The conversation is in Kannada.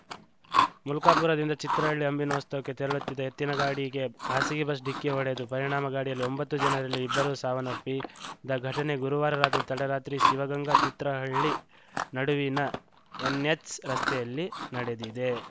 ಮುಲ್ಕಾಪುರದಿಂದ ಚಿತ್ರಹಳ್ಳಿ ಅಂಬಿನೋಸ್ತವಕ್ಕೆ ತೆರಳುತ್ತಿದ್ದ ಎತ್ತಿನಗಾಡಿಗೆ ಖಾಸಗಿ ಬಸ್‌ ಡಿಕ್ಕಿ ಹೊಡೆದು ಪರಿಣಾಮ ಗಾಡಿಯಲಿ ಒಂಬತ್ತು ಜನರಲ್ಲಿ ಇಬ್ಬರು ಸಾವನ್ನಪ್ಪಿದ ಘಟನೆ ಗುರುವಾರ ತಡರಾತ್ರಿ ಶಿವಗಂಗ ತಿತ್ರಹಳ್ಳಿ ನಡುವಿನ ಎನ್‌ಎಚ್‌ ರಸ್ತೆಯಲ್ಲಿ ನಡೆದಿದೆ